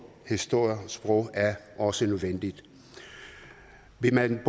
historie og sprog er også nødvendigt vil man